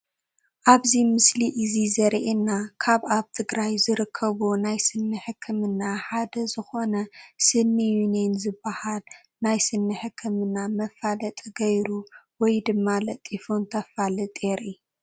ኣብዚ ምስሊ እዚ ዘሪኤና ካብ ኣብ ትግራይ ዝርከቡ ናይ ስኒ ሕክምና ሓደ ዝኾነ "ስኒ ዩኒየን" ዝባሃል ናይ ስኒ ሕክምና መፋለጢ ገይሩ ወይ ድማ ለጢፉ እንተፋልጥ የርኢ፡፡